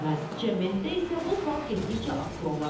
Cəmiyyətdə isə bu sual getdikcə aktuallaşır.